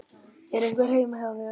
Er einhver heima hér?